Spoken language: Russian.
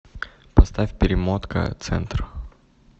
поставь перемотка центр